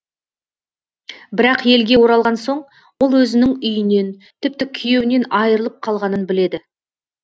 бірақ елге оралған соң ол өзінің үйінен тіпті күйеуінен айырылып қалғанын біледі